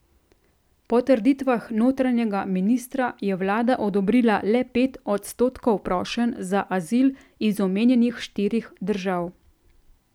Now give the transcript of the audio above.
Po trditvah notranjega ministra je vlada odobrila le pet odstotkov prošenj za azil iz omenjenih štirih držav.